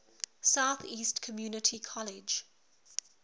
southeast community college